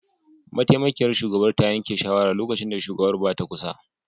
Mataimakiyar shugabar ta yanke shawara lokacin da shugabar ba ta kusa